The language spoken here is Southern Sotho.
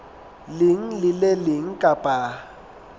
leng le le leng kapa